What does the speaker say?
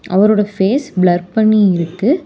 அவரோட face blur பண்ணி இருக்கு.